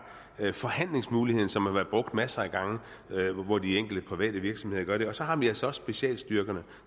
forhandlingsmuligheden som har været brugt masser af gange hvor de enkelte private virksomheder gør det og så har vi altså også specialstyrkerne